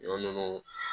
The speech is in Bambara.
Ɲɔ nunnu